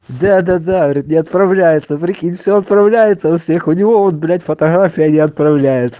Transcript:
да-да-да говорит не отправляется все отправляется у всех у него вот блять фотография не отправляется